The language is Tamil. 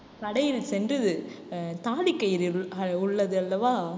கடையில் சென்று ஆஹ் தாலி கயிறு உள்ளது அல்லவா